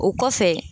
O kɔfɛ